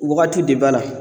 Wagati de b'a la